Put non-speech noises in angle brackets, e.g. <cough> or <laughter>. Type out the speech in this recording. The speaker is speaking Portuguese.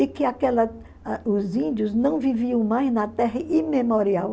E que aquela <unintelligible> os índios não viviam mais na terra imemorial.